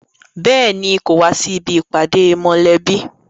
Béèni, kò wá sí ibi ìpàdé mọ̀lẹ́bí